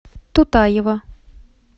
тутаева